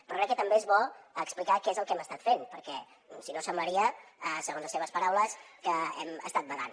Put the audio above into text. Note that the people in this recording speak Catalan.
però crec que també és bo explicar què és el que hem estat fent perquè si no semblaria segons les seves paraules que hem estat badant